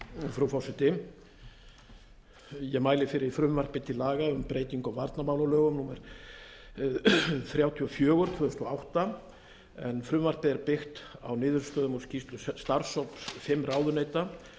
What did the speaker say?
frú forseti ég mæli fyrir frumvarpi til laga um breytingu á varnarmálalögum númer þrjátíu og fjögur tvö þúsund og átta en frumvarpið er byggt á niðurstöðum úr skýrslu starfshóps fimm ráðuneyta